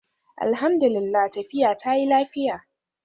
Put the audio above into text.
Alhamdu lillah, tafiya ta yi lafiya